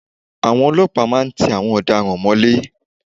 Àwọn ọlọ́pàá máa ń tí àwọn ọ̀daràn mọ́lé.